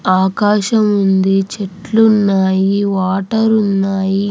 ఆకాశముంది చెట్లు ఉన్నాయి. వాటర్ ఉన్నాయి---